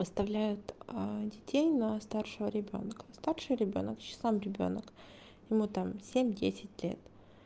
оставляют детей на старшего ребёнка старший ребёнок ещё сам ребёнок ему там семь-десять лет